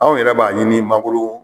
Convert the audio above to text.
Anw yɛrɛ b'a ɲini mangoro